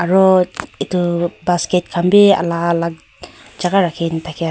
Aro etu basket khan bhi alak alak jaga rakhina thakya--